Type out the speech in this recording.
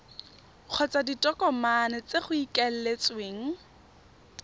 kgotsa ditokomane tse go ikaeletsweng